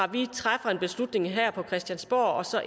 vi træffer en beslutning her på christiansborg og så